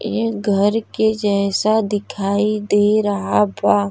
ए घर के जैसा दिखाई दे रहा है बा।